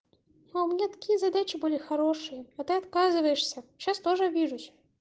а у меня такие задачи были хорошие а ты отказываешься сейчас тоже обижусь